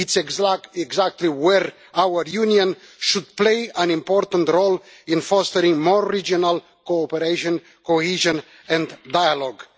This is exactly where our Union should play an important role in fostering more regional cooperation, cohesion and dialogue.